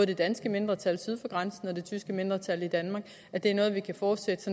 det danske mindretal syd for grænsen og det tyske mindretal i danmark er noget vi kan fortsætte